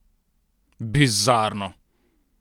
Bizarno!